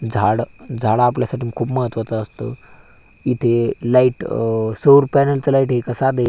झाड झाड आपल्यासाठी खूप महत्त्वाच असतं इथे लाइट अ सौर पॅनल च लाइट य का साधय--